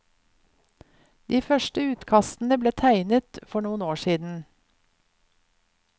De første utkastene ble tegnet for noen år siden.